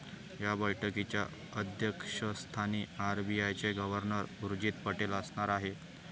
या बैठकीच्या अध्यक्षस्थानी आरबीआयचे गव्हर्नर उर्जित पटेल असणार आहेत.